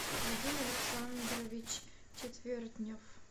вадим александрович четвертнев